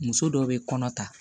Muso dɔw be kɔnɔ ta